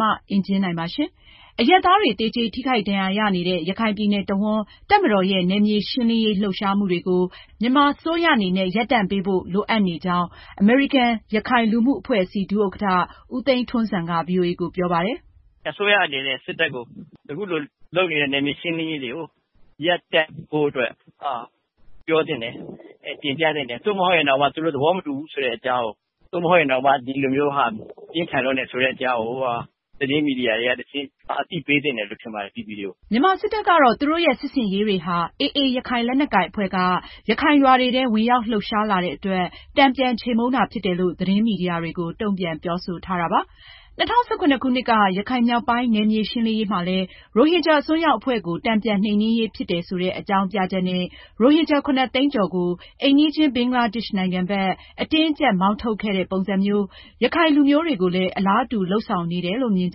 မအင်ကြင်းနိုင်က ဆက်လက်တင်ပြမှာပါ။ အရပ်သားတွေ သေကြေ ထိခိုက်ဒဏ်ရာရနေတဲ့ ရခိုင်ပြည်နယ်တဝှမ်း တပ်မတော်ရဲ့ နယ်မြေရှင်းလင်းရေး လှုပ်ရှားမှုတွေကို မြန်မာအစိုးရ အနေနဲ့ ရပ်တန့်ဖို့ လိုအပ်နေကြောင်း အမေရိကန်-ရခိုင်လူမှုအဖွဲ့အစည်း ဒုဥက္ကဌ ဦးသိန်းထွန်းဇံ က ဗွီအိုအေကို ပြောပါတယ်။ " အစိုးရအနေနဲ့ စစ်တပ်ကို အခုလို လုပ်နေတဲ့ နယ်မြေရှင်းလင်းရေးတွေကို ရပ်တန့်ဖို့အတွက် ပြောသင့်တယ်။ သို့မဟုတ်ရင်တောင် သူတို့ သဘောမတူဘူးဆိုတဲ့အကြောင်း၊ ဒီလိုလုပ်တာမျိုးဟာ ပြင်းထန်လွန်းတယ်ဆိုတာမျိုး သတင်းမီဒီယာတွေကတဆင့် အသိပေးတာမျိုး လုပ်သင့်ပါတယ်။" မြန်မာစစ်တပ်ကတော့ သူတို့ရဲ့ စစ်ဆင်ရေးတွေဟာ AA ရခိုင်လက်နက်ကိုင်အဖွဲ့က ရခိုင်ရွာတွေထဲ ဝင်ရောက်လှုပ်ရှားလာတဲ့အတွက် တန်ပြန်ချေမှုန်းတာဖြစ်တယ်လို့ သတင်းမီဒီယာတွေကို ပြန်ပြီး တုံ့ပြန်ပြောဆိုထားပါတယ်။ ၂၀၁၇ ခုနှစ်က ရခိုင်မြောက်ပိုင်း နယ်မြေရှင်းလင်းရေးမှာလည်း ရိုဟင်ဂျာအစွန်းရောက်အဖွဲ့ကို တန်ပြန်နှိမ်းနင်းရေးဖြစ်တယ်ဆိုတဲ့ အကြောင်းပြချက်နဲ့ ရိုဟင်ဂျာ ၇ သိန်းကျော်ကို အိမ်နီးချင်း ဘင်္ဂလားဒေ့ရှ်နိုင်ငံဘက် အတင်းအကျပ် မောင်းထုတ်ခဲ့တဲ့ပုံစံမျိုး ရခိုင်လူမျိုးတွေကိုလည်း အလားတူ လုပ်ဆောင်နေတယ်လို့ မြင်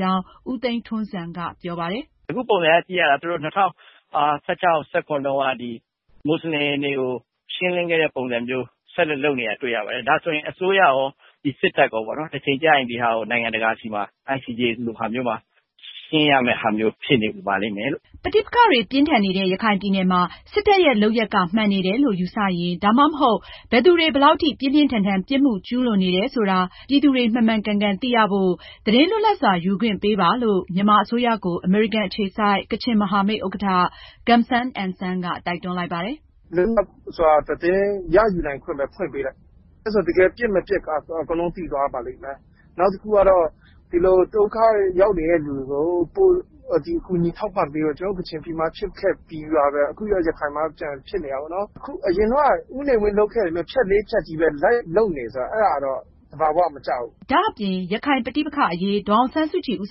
ကြောင်း ဦးသိန်းထွန်းဇံက ပြောပါတယ်။ "အခု ပုံစံက ၂၀၁၆၊ ၂၀၁၇ ခုနှစ်က မွတ်စလင်တွေကို ရှင်းလင်းခဲ့တဲ့ ပုံစံမျိုးဆက်လက် လုပ်နေတာ တွေ့ရပါတယ်။ ဒါဆိုရင် အစိုးရရော စစ်တပ်ပါ တချိန်မှာ ICJ လို နိုင်ငံတကာ တရားရုံးတွေရှေ့မှောက် ရင်ဆိုင်ဖြေရှင်းရမယ့် အဖြစ်မျိုးရောက်လာပါလိမ့်မယ်။" ပဋိပက္ခတွေ ပြင်းထန်နေတဲ့ ရခိုင်ပြည်နယ်မှာ စစ်တပ်ရဲ့ လုပ်ရပ်က မှန်နေတယ်လို့ ယူဆရင် ဒါမှမဟုတ် ဘယ်သူတွေ ဘယ်လောက်ထိ ပြင်းပြင်းထန်ထန် ပြစ်မှုကျူးလွန်နေတယ်ဆိုတာ ပြည်သူတွေ မှန်မှန်ကန်ကန် သိရဖို့ သတင်းလွတ်လပ်စွာယူခွင့်ပေးပါလို့ မြန်မာအစိုးရကို အမေရိကန်အခြေစိုက် ကချင်မဟာမိတ် ဥက္ကဌ Gum San NSang က တိုက်တွန်းလိုက်ပါတယ်။ " လွတ်လပ်စွာ သတင်းရယူနိုင်ခွင့်ပဲ ဖွင့်ပေးလိုက်ပါ။ တကယ် ပစ်မပစ်က အကုန်လုံး သိသွားပါလိမ့်မယ်။ နောက်တခုက ဒီလို ဒုက္ခရောက်နေသူတွေကို ကူညီထောက်ပံ့ဖို့ လိုနေပါတယ်။ ကျနော်တို့ ကချင်ပြည်နယ်မှာလိုမျိုး ရခိုင်ပြည်နယ်မှာ ဖြစ်နေတာပါ။အရင်တုန်းကလုပ်သလို ဖြတ်လေးဖြတ်ပုံစံမျိုးပဲ လုပ်နေတာပါ။" ဒါအပြင် ရခိုင်ပဋိပက္ခအရေး ဒေါ်အောင်ဆန်းစုကြည်ဦး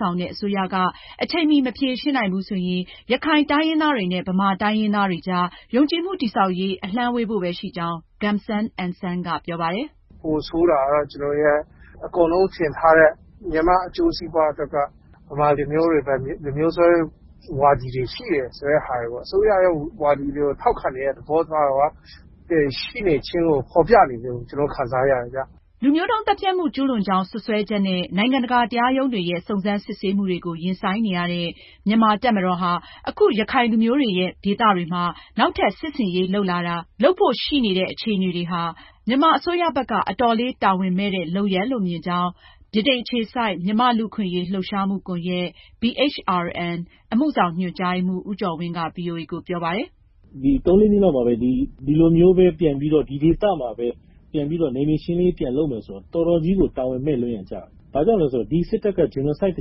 ဆောင်တဲ့ အစိုးရက အချိန်မှီမဖြေရှင်းနိုင်ဘူးဆိုရင် ရခိုင်တိုင်းရင်းသားနဲ့ ဗမာတိုင်းရင်းသားတွေအကြား ယုံကြည်မှု တည်ဆောက်ရေး အလှမ်းဝေးဖို့ပဲ ရှိကြောင်း Gum San NSang က ပြောပါတယ်။ " ပိုဆိုးတာက အကုန်လုံးထင်တာတဲ့ မြန်မာ့အကျိုးစီးပွားအတွက် ဗမာတွေအတွက် လူမျိုးစွဲဝါဒီတွေ ရှိနေတဲ့ သဘောသက်ရောက်နေပါတယ်။ အဲတော့ အစိုးရက ဒီလူမျိုးကြီး ဝါဒကို ထောက်ခံနေတဲ့ သဘောပြနေတယ်လို့ ကျနော်တို့ ခံစားရပါတယ်။" လူမျိုးတုံးသတ်ဖြတ်မှုကျူးလွန်ကြောင်း စွပ်စွဲချက်နဲ့ နိုင်ငံတကာတရားရုံးတွေရဲ့ စုံစမ်းစစ်ဆေးမှုတွေကို ရင်ဆိုင်နေရတဲ့ မြန်မာ့တပ်မတော်ဟာ အခု ရခိုင်လူမျိုးတွေရဲ့ ဒေသတွေမှာ နောက်ထပ်စစ်ဆင်ရေးလုပ်လာတာ၊ လုပ်ဖို့ရှိနေတဲ့အခြေအနေတွေဟာ မြန်မာအစိုးရဘက် အတော်လေးတာဝန်မဲ့တဲ့ လုပ်ရပ်လို့မြင်ကြောင်း ဗြိတိန်အခြေစိုက် မြန်မာ့လူ့အခွင့်အရေးလှုပ်ရှားမှုကွန်ယက် BHRN အမှုဆောင်ညွန်ကြားရေးမှူး ဦးကျော်ဝင်းက ဗွီအိုအေကို ပြောပါတယ်။ " သုံး လေးနှစ်အတွင်းမှာပဲ ဒီလိုမျိုးပဲ ပြန်ပြီး ဒီဒေသမှာပဲ ပြန်ပြီးတော့ နယ်မြေရှင်းလင်းရေး ပြန်လုပ်မယ်ဆိုတာ တော်တော်လေး တာဝန်မဲ့လွန်ရာကျပါတယ်။ ဘာကြောင့်လဲဆိုတော့ ဒီစစ်တပ်က တချိန်က ဂျီနိုဆိုက်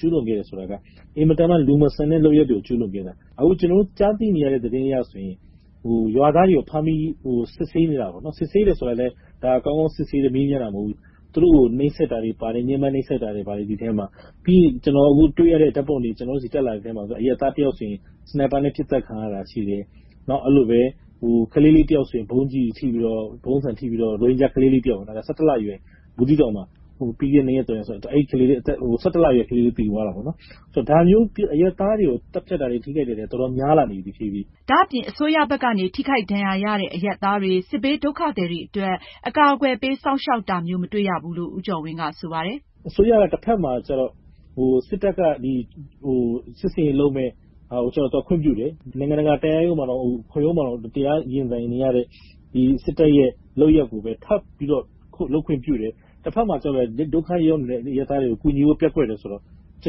ကျူးလွန်ခဲ့တယ်ဆိုတာ အင်မတန်မှ လူမဆန်တဲ့ လုပ်ရပ်တွေကို ကျူးလွန်ခဲ့တာ။ အခုကျနော်တို့ ကြားသိနေရတဲ့ သတင်းတွေအရဆိုရင် ရွာသားတွေကို ဖမ်းပြီးစစ်ဆေးနေတာပါ။ စစ်ဆေးနေတယ်ဆိုတဲ့ နေရာမှာလည်း သူတို့ကို ညှဉ်းပမ်းနှိပ်စက်တာတွေပါတယ်။ ကျနော်တို့ ရတဲ့ ဓါတ်ပုံအထောက်အထားတွေမှာ အရပ်သားတယောက်ဆိုရင် စနိုက်ပါနဲ့ ပစ်သတ်ခံရတာ၊ ဘူးသီးတောင်ဘက်မှာလည်း အသက် ၁၁ လအရွယ် ရိုဟင်ဂျာ ကလေးလေးတယောက်ဆိုရင် ဗုံးကျည်ထိပြီး သေသွားတာ၊ ဒါမျိုး အရပ်သားတွေ ထိခိုက်သေဆုံးတာတွေ အတော်လေး များလာနေပြီ။" ဒါအပြင် အစိုးရဘက်ကနေ ထိခိုက်ဒဏ်ရာရတဲ့ အရပ်သားတွေ၊ စစ်ဘေးဒုက္ခသည်တွေအတွက် အကာအကွယ်ပေးစောင့်ရှောက်တာမျိုး မတွေ့ရဘူးလို့ ဦးကျော်ဝင်းက ဆိုပါတယ်။ " အစိုးရက တဖက်မှာကျတော့ စစ်တပ်ကနေ စစ်ဆင်ရေးလုပ်မယ့်ဟာကို ခွင့်ပြုတယ်၊ နိုင်ငံတကာတရားရုံးမှာတောင် ရင်ဆိုင်နေရတဲ့ စစ်တပ်ရဲ့ ကျူးလွန်မှုကို ထပ်ပြီးခွင့်ပြုတယ်။ တဖက်မှာကျတော့ ဒုက္ခရောက်နေတဲ့ အရပ်သားတွေကို ကူညီဖို့ ပျက်ကွက်တယ် ဆိုတာမျိုးကျ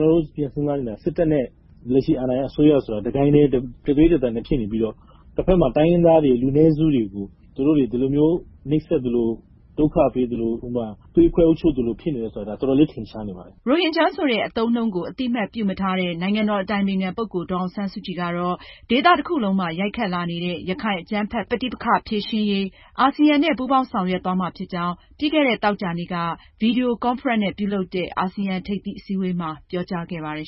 တော့ ကျနော်တို့ ပြန်စဉ်းစားရင် စစ်တပ်နဲ့ လက်ရှိ အာဏာရ အစိုးရက တဂိုဏ်းတည်းပုံစံမျိုး မြင်မိတယ်၊ တဖက်မှာကျတော့ တိုင်းရင်းသားတွေ၊ လူနည်းစုတွေကို နှိပ်စက်ပြီး သွေးခွဲအုပ်ချုပ်တာ တော်တော်လေး ထင်ရှားနေပါတယ်။" ရိုဟင်ဂျာ အသုံးအနှုန်းကို အသိအမှတ်ပြုမထားတဲ့ နိုင်ငံတော်အတိုင်ပင်ခံပုဂ္ဂိုလ် ဒေါ်အောင်ဆန်းစုကြည်ကတော့ ဒေသတခုလုံးပါ ရိုက်ခတ်လာနေတဲ့ ရခိုင် အကြမ်းဖက် ပဋိပက္ခဖြေရှင်းရေး အာဆီယံနဲ့ ပူးပေါင်းဆောင်ရွက်သွားမှာဖြစ်ကြောင်း ပြီးခဲ့တဲ့ သောကြာနေ့က ဗွီဒီယိုကွန်ဖရင့်နဲ့ ပြုလုပ်တဲ့ အာဆီယံထိပ်သီးအစည်းအဝေးမှာ ပြောကြားခဲ့ပါတယ်